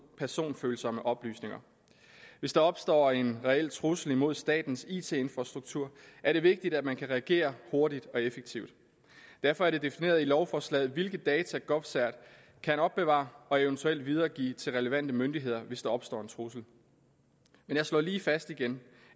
personfølsomme oplysninger hvis der opstår en reel trussel imod statens it infrastruktur er det vigtigt at man kan reagere hurtigt og effektivt derfor er det defineret i lovforslaget hvilke data govcert kan opbevare og eventuelt videregive til relevante myndigheder hvis der opstår en trussel men jeg slår lige fast igen